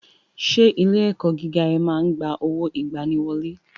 Ṣé ilé ẹ̀kọ́ gíga ẹ ma ń gba owó ìgbaniwọlé?